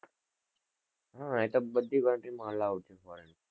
હા એ તો બધી બાજુ જ પડે.